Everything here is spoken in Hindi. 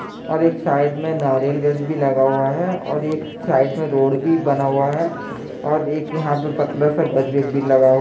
और एक साइड में नारियल गाछ भी लगा हुआ हैं और एक साइड में रोड भी बना हुआ हैं और एक यहां पतला सा भी लगा हुआ हैं ।